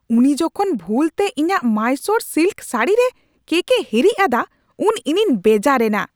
ᱩᱱᱤ ᱡᱚᱠᱷᱚᱱ ᱵᱷᱩᱞ ᱛᱮ ᱤᱧᱟᱹᱜ ᱢᱟᱭᱥᱳᱨ ᱥᱤᱞᱠ ᱥᱟᱹᱲᱤᱨᱮ ᱠᱮᱠᱼᱮ ᱦᱤᱨᱤᱪ ᱟᱫᱟ ᱩᱱ ᱤᱧᱤᱧ ᱵᱮᱡᱟᱨ ᱮᱱᱟ ᱾